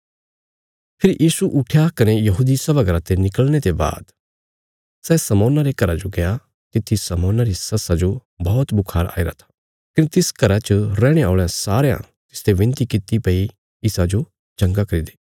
फेरी यीशु उट्ठया कने यहूदी सभा घरा ते निकल़णे ते बाद सै शमौना रे घरा जो गया तित्थी शमौना री सस्सा जो बौहत बुखार आईरा था कने तिस घरा च रैहणे औल़यां सारयां तिसते बिनती किति भई इसाजो चंगा करी दे